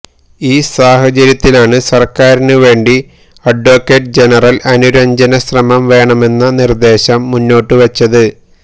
ഈ സാഹചര്യത്തിലാണ് സര്ക്കാരിനു വേണ്ടി അഡ്വക്കെറ്റ് ജനറല് അനുരഞ്ജന ശ്രമം വേണമെന്ന നിര്ദേശം മുന്നോട്ടുവച്ചത്